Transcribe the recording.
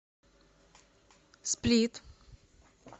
сплит